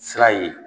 Sira ye